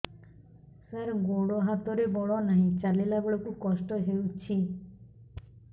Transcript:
ସାର ଗୋଡୋ ହାତରେ ବଳ ନାହିଁ ଚାଲିଲା ବେଳକୁ କଷ୍ଟ ହେଉଛି